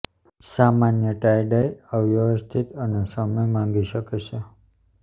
સામાન્ય tie dye અવ્યવસ્થિત અને સમય માંગી શકે છે